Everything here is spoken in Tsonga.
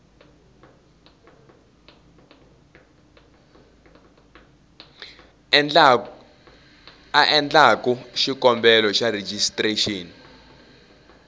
a endlaku xikombelo xa rejistrexini